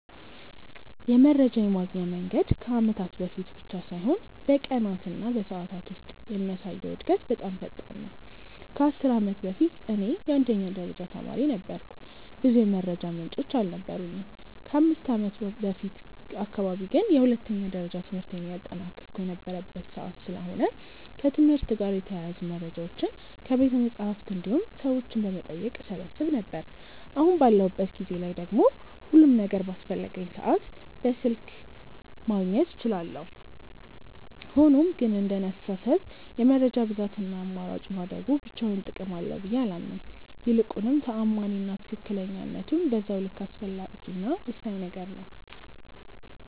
የመረጃ የማግኛ መንገድ ከአመታት በፊት ብቻ ሳይሆን በቀናት እና በሰዓታት ውስጥ የሚያሳየው እድገት በጣም ፈጣን ነው። ከ10 አመት በፊት እኔ የአንደኛ ደረጃ ተማሪ ነበርኩ ብዙ የመረጃ ምንጮች አልነበሩኝም። ከ5ከአመት በፊት አካባቢ ግን የሁለተኛ ደረጃ ትምህርቴን እያጠናቀቅሁ የነበረበት ሰዓት ስለሆነ ከትምህርት ጋር የተያያዙ መረጃዎችን ከቤተመፅሀፍት እንዲሁም ሰዎችን በመጠየቅ እሰበስብ ነበር። አሁን ባለሁበት ጊዜ ላይ ደግሞ ሁሉም ነገር በአስፈለገኝ ሰዓት በስልክ ማግኘት እችላለሁ። ሆኖም ግን እንደኔ አስተሳሰብ የመረጃ ብዛት እና አማራጭ ማደጉ ብቻውን ጥቅም አለው ብዬ አላምንም። ይልቁንም ተአማኒ እና ትክክለኝነቱም በዛው ልክ አስፈላጊ እና ወሳኝ ነገር ነው።